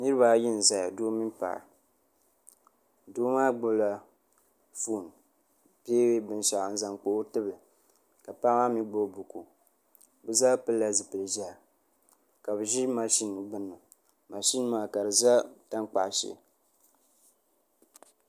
niraba ayi n ʒɛya doo mini paɣa doo maa gbubila foon bee binshaɣu n zaŋ kpa o tibili ka paɣa maa mii gbubi buku bi zaa pilila zipili ʒiɛhi ka bi ʒi mashin gbuni mashin maa ka di ʒɛ tankpaɣu shee